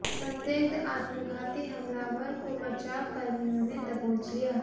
संदिग्ध आत्मघाती हमलावर को बचाव कर्मियों ने दबोच लिया